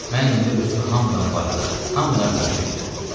Mən indi özümü hamıdan varlı, hamıdan güclü bilirəm.